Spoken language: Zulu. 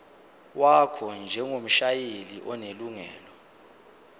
wakho njengomshayeli onelungelo